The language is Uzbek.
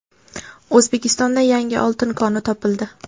O‘zbekistonda yangi oltin koni topildi.